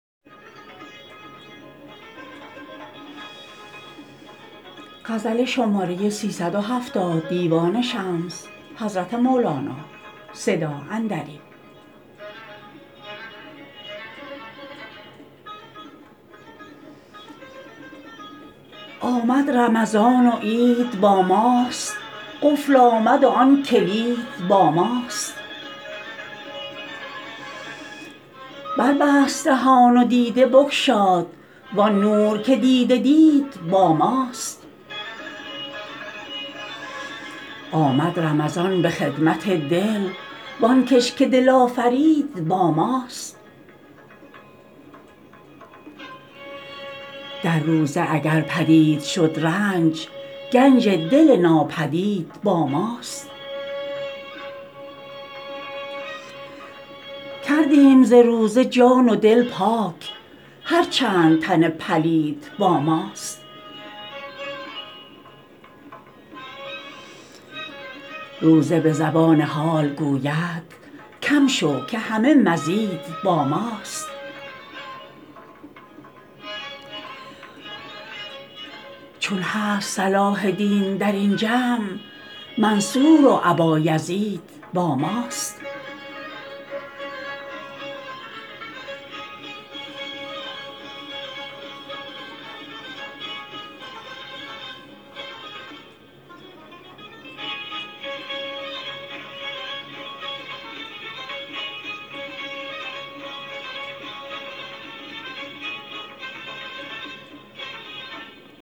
آمد رمضان و عید با ماست قفل آمد و آن کلید با ماست بربست دهان و دیده بگشاد وان نور که دیده دید با ماست آمد رمضان به خدمت دل وان کش که دل آفرید با ماست در روزه اگر پدید شد رنج گنج دل ناپدید با ماست کردیم ز روزه جان و دل پاک هر چند تن پلید با ماست روزه به زبان حال گوید کم شو که همه مزید با ماست چون هست صلاح دین در این جمع منصور و ابایزید با ماست